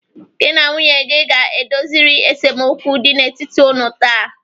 Gị na nwunye gi ga-edoziriri esemokwu dị n'etiti unu taa.